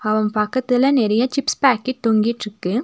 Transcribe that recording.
அவன் பக்கத்துல நெறைய சிப்ஸ் பாக்கெட் தொங்கிட்ருக்கு.